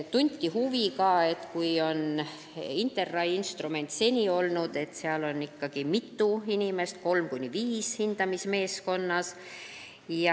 Tunti huvi InterRAI instrumendi vastu, kus on hindamismeeskonnas ikkagi mitu inimest, kolm kuni viis.